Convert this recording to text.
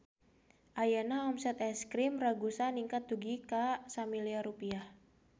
Ayeuna omset Es Krim Ragusa ningkat dugi ka 1 miliar rupiah